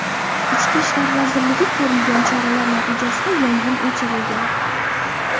Ichki ishlar vazirligi Ko‘rilgan choralar natijasida yong‘in o‘chirilgan.